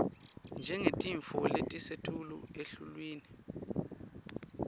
njengetintfo letisetulu eluhlwini